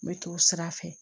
N bɛ t'o sira fɛ